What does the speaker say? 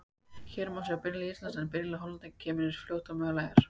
Hér má sjá byrjunarlið Íslands en byrjunarlið Hollendinga kemur eins fljótt og mögulegt er.